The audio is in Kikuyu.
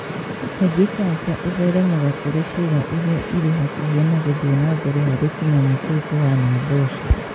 Kaingĩ kanja ĩtheremaga kũrĩ ciĩga iria irĩ hakuhĩ na guthii nambere harĩ tunyamũ tũu tuhana mboco